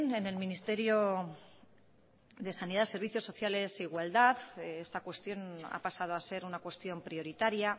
en el ministerio de sanidad servicios sociales e igualdad esta cuestión ha pasado a ser una cuestión prioritaria